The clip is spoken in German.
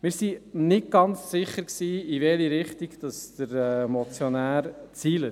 Wir sind nicht ganz sicher, in welche Richtung der Motionär zielt.